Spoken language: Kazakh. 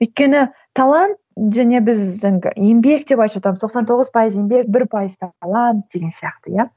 өйткені талант және біз енді еңбек деп айтып жатамыз тоқсан тоғыз пайыз еңбек бір пайыз талант деген сияқты иә